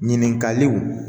Ɲininkaliw